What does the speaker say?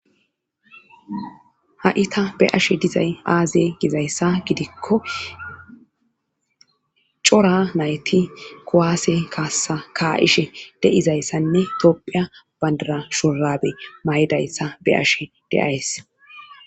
ha7ita be' ashe dizay aaze gizayssa gidikko cora nayti kuwaase kaassa ka7ishe deizayssanne doopphiya bandara shorabe may7idayssa be ashe de'ays